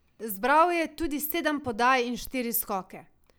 Zbral je tudi sedem podaj in štiri skoke.